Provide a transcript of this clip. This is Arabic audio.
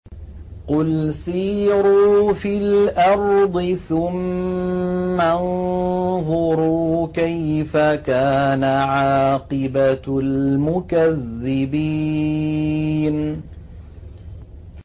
قُلْ سِيرُوا فِي الْأَرْضِ ثُمَّ انظُرُوا كَيْفَ كَانَ عَاقِبَةُ الْمُكَذِّبِينَ